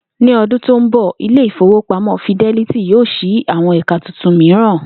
Ní o̩dún tó ń bò̩, ilé ìfowópamó̩ Fidelity yóò s̩i àwo̩n è̩ka tuntun mìíràn